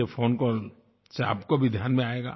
ये phone call से आपको भी ध्यान में आएगा